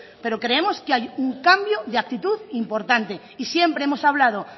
pero creemos que hay un cambio de actitud importante y siempre hemos hablado